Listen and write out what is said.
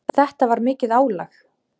Þetta var mikið álag.